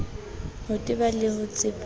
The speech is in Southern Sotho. ho teba le ho tsepama